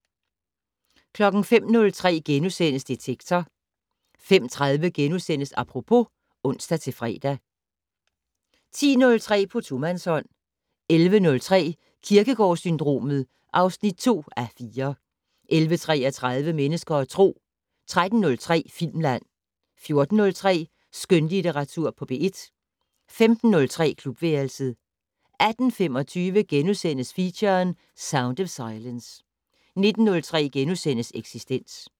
05:03: Detektor * 05:30: Apropos *(ons-fre) 10:03: På tomandshånd 11:03: Kierkegaard-syndromet (2:4) 11:33: Mennesker og Tro 13:03: Filmland 14:03: Skønlitteratur på P1 15:03: Klubværelset 18:25: Feature: Sound of silence * 19:03: Eksistens *